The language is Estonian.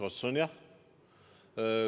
Vastus on jah.